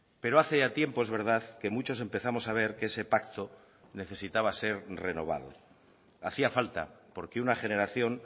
pero hace ya tiempo es verdad que muchos empezamos a ver que ese pacto necesitaba ser renovado hacía falta porque una generación